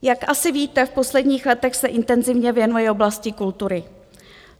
Jak asi víte, v posledních letech se intenzivně věnuji oblasti kultury.